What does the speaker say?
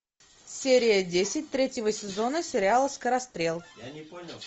серия десять третьего сезона сериала скорострел